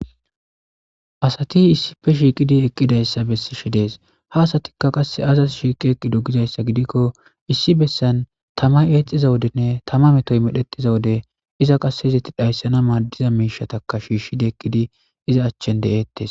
asati issife shiiqidi eqqidayssa bessishe dees ha asatikka qasse azas shiiqi eqqido gizayssa gidikko issi bessan tamay eexxiza wodenne tama metoy medhexiza wode iza qassezetti dhayssana maaddiza miishataka shiishshidi eqqidi iza achchen de7ettes